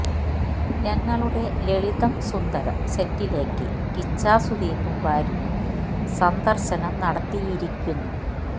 ഞങ്ങളുടെ ലളിതം സുന്ദരം സെറ്റിലേക്ക് കിച്ചാ സുദീപും ഭാര്യയും സന്ദർശനം നടത്തിയിരിക്കുന്നു